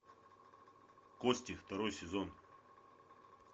кости второй сезон